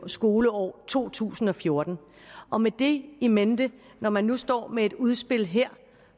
skoleåret to tusind og fjorten og med det in mente når man nu står med et udspil her